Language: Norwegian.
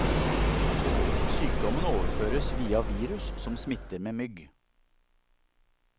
Sykdommen overføres via virus som smitter med mygg.